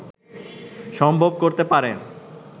সম্ভব করতে পারেন